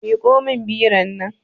Miƙo min biron nan